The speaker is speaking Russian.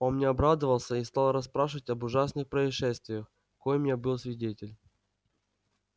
он мне обрадовался и стал расспрашивать об ужасных происшествиях коим я был свидетель